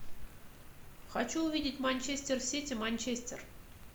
хочу увидеть манчестер сити манчестер